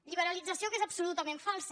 liberalització que és absolutament falsa